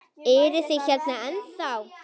Eruð þið hérna ennþá?